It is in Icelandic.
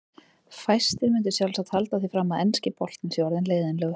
Fæstir myndu sjálfsagt halda því fram að enski boltinn sé orðinn leiðinlegur.